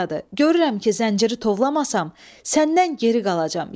Görürəm ki, zənciri tovlamasam, səndən geri qalacam.